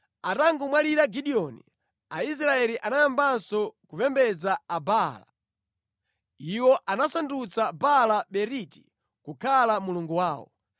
Atangomwalira Gideoni, Aisraeli anayambanso kupembedza Abaala. Iwo anasandutsa Baala-Beriti kukhala mulungu wawo.